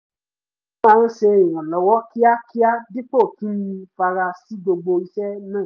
mo máa ṣe ìrànlọ́wọ́ kíákíá dípò kí n fara sí gbogbo iṣẹ́ náà